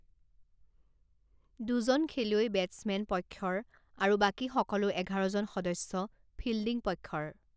দুজন খেলুৱৈ বেটছমেন পক্ষৰ আৰু বাকী সকলো এঘাৰজন সদস্য ফিল্ডিং পক্ষৰ।